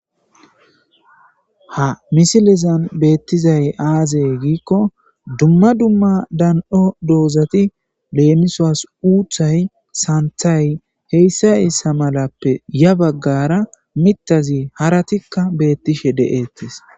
ha misilezan beettizay aaze giikkon dumma dumma dan'o doozati leemisuwas uuthay saanthay heyssa heysa malati ya baggara mitazi haratikka beettishe de'ettis